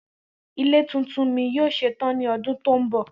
Ile titun mi yoo ṣetan ni ọdun to nbọ.